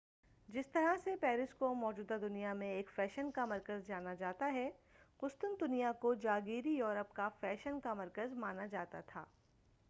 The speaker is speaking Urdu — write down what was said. جس طرح سے پیرس کو موجودہ دنیا میں ایک فیشن کا مرکز جانا جاتا ہے قسطنطنیہ کو جاگیری یورپ کا فیشن کا مرکز مانا جاتا تھا